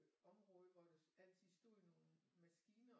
Område hvor der altid stod nogle maskiner